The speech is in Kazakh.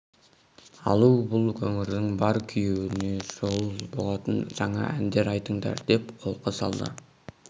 алу бұл өңірдің бар күйеуіне жол болатын жаңа әндер айтыңдар деп қолқа салды